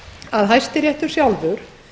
að hæstiréttur sjálfur